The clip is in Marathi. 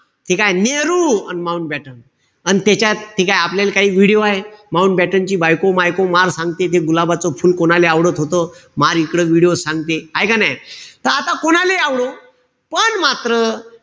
ठीकेय? नेहेरु, अन माऊंटबॅटन. अन त्याच्यात ते काय आपल्याले video हाये, माऊंटबॅटन ची बायको-मायको मार सांगते ते गुलाबाचं फुल कोणाले आवडत होत. मार इकडं video त सांगते. हाय का नाई? त आता कोणालेही आवडो. पण मात्र,